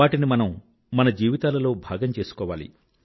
వాటిని మనం మన జీవితాలలో భాగం చేసుకోవాలి